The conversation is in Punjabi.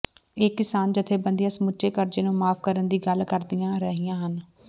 ਇਹ ਕਿਸਾਨ ਜਥੇਬੰਦੀਆਂ ਸਮੁੱਚੇ ਕਰਜ਼ੇ ਨੂੰ ਮੁਆਫ਼ ਕਰਨ ਦੀ ਗੱਲ ਕਰਦੀਆਂ ਰਹੀਆਂ ਹਨ